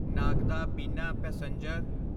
ਨਾਗਦਾ ਬਿਨਾ ਪੈਸੇਂਜਰ